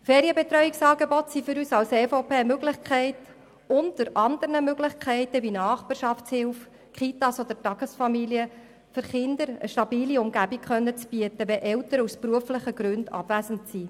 Ferienbetreuungsangebote sind für die EVP eine Möglichkeit unter anderen Möglichkeiten wie Nachbarschaftshilfe, Kitas oder Tagesfamilien für Kinder eine stabile Umgebung bieten zu können, wenn Eltern aus beruflichen Gründen abwesend sind.